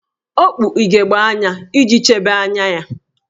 O kpu ugegbe anya iji chebe anya ya